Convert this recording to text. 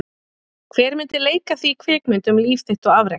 Hver myndi leika þig í kvikmynd um líf þitt og afrek?